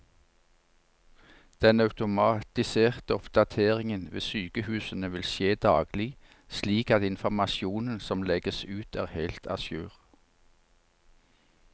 Den automatiserte oppdateringen ved sykehusene vil skje daglig, slik at informasjonen som legges ut er helt a jour.